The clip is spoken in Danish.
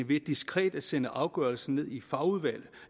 ved diskret at sende afgørelsen ned i fagudvalg